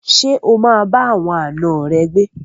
Ṣé o bá àwọn àna rẹ gbé?